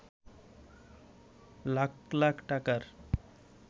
লাখ লাখ টাকার